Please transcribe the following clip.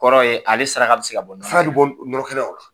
kɔrɔ ye ale saraka bɛ se ka bɔ nɔnɔkɛnɛ na, saraka bɛ bɔ nɔnɔkɛnɛ na.